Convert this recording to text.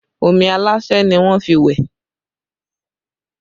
Omi aláṣẹ́ ni wọ́n fi wẹ̀